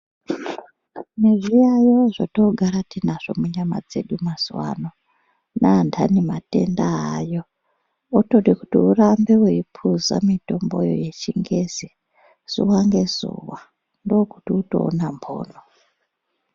Mazuwa ano zvotoogara tinazvo munyama dzedu mazuwa ano, anthani matenda aayo otoda kuti urambe weipuza mitomboyo yechingezi zuwa ngezuwa ndookutoti utoona mhono.